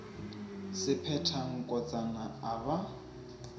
se phetha nkotsana a ba